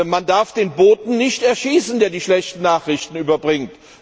Man darf den Boten nicht erschießen, der die schlechten Nachrichten überbringt.